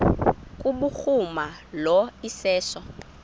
kubhuruma lo iseso